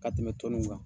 Ka tɛmɛ tɔnniw kan